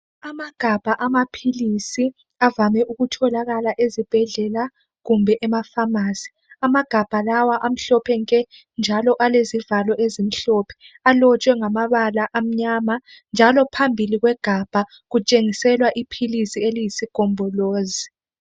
Amagabha amaphilisi avame ukutholakala esibhedlela kumbe ema pharmacy amagabha lawa amhlophe nke njalo alezivalo ezimhlophe alotshwe ngamabala amnyama njalo phambili kwegabha kutshengiselwa iphilisi eliyisogombolozi.